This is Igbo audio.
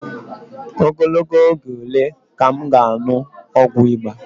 Ogologo oge ole ka m ga-aṅụ ọgwụ ịba?